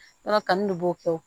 Yɔrɔ kanu de b'o kɛ